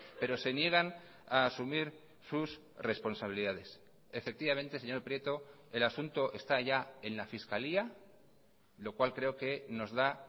pero se niegan a asumir sus responsabilidades efectivamente señor prieto el asunto está ya en la fiscalía lo cual creo que nos da